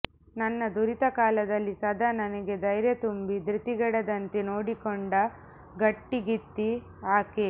ನನ್ನ ದುರಿತಕಾಲದಲ್ಲಿ ಸದಾ ನನಗೆ ಧೈರ್ಯ ತುಂಬಿ ಧೃತಿಗೆಡದಂತೆ ನೋಡಿಕೊಂಡ ಗಟ್ಟಿಗಿತ್ತಿ ಆಕೆ